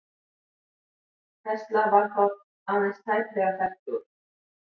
Tesla var þá aðeins tæplega fertugur.